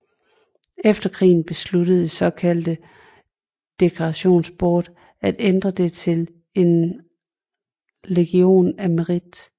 Efter krigen besluttede det såkaldte Decorations Board at ændre den til en Legion of Merit